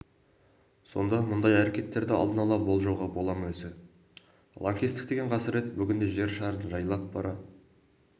сонда мұндай әрекеттерді алдын-ала болжауға бола ма өзі лаңкестік деген қасірет бүгінде жер шарын жайлап бара